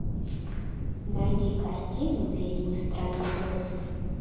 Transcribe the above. найди картину ведьмы страны оз